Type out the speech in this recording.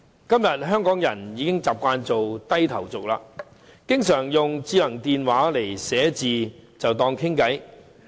今天香港人已經習慣做"低頭族"，經常利用智能電話書寫文字來與人聊天。